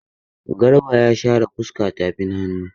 Garba ya share fuska tafin hannu.